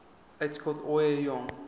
uitskot ooie jong